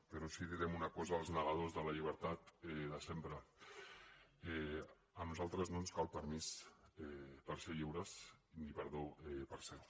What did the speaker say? però sí que direm una cosa als negadors de la llibertat de sempre a nosaltres no ens cal permís per ser lliures ni perdó per ser ho